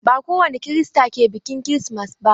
Ba kowani Kirista ke biƙin kirismas ba.